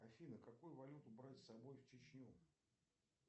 афина какую валюту брать с собой в чечню